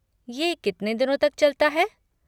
ये कितने दिनों तक चलता है?